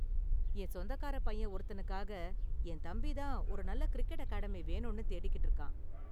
என் சொந்தக்காரப் பையன் ஒருத்தனுக்காக என் தம்பி தான் ஒரு நல்ல கிரிக்கெட் அகாடமி வேணும்னு தேடிக்கிட்டு இருக்கான்.